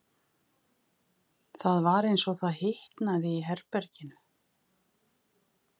Það var eins og það hitnaði í herberginu.